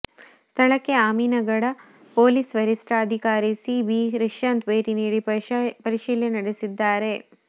ಸ್ಥಳಕ್ಕೆ ಅಮೀನಗಡ ಪೊಲೀಸ್ ವರಷ್ಠಾಧಿಕಾರಿ C B Rishyanth ಭೇಟಿ ನೀಡಿ ಪರಿಶೀಲನೆ ನಡೆಸಿದ್ದಾರೆ